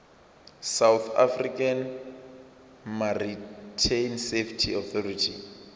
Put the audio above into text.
south african maritime safety authority